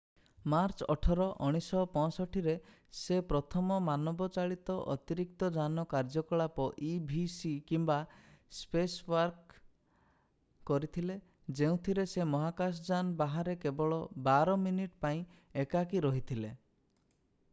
March 18 1965ରେ ସେ ପ୍ରଥମ ମାନବଚାଳିତ ଅତିରିକ୍ତଯାନ କାର୍ଯ୍ୟକଳାପ ଇଭିଏ କିମ୍ବା ସ୍ପେସୱାକ୍ କରିଥିଲେ ଯେଉଁଥିରେ ସେ ମହାକାଶଯାନ ବାହାରେ କେବଳ ବାର ମିନିଟ୍ ପାଇଁ ଏକାକୀ ରହିଥିଲେ ।